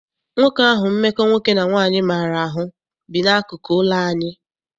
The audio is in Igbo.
Nwoke ahụ mmekọ nwoke na nwaanyị maara ahụ bi n'akụkụ ụlọ anyị.